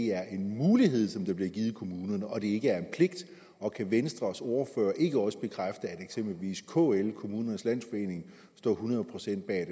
er en mulighed som bliver givet kommunerne og ikke en pligt og kan venstres ordfører ikke også bekræfte at eksempelvis kl kommunernes landsforening står hundrede procent bag